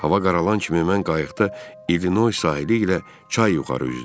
Hava qaralan kimi mən qayıqda İllinoy sahili ilə çay yuxarı üzdüm.